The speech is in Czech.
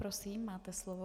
Prosím, máte slovo.